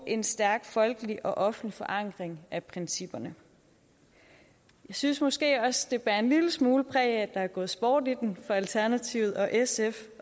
en stærk folkelig og offentlig forankring af principperne jeg synes måske også det bærer en lille smule præg af at der er gået sport i den fra alternativets og sfs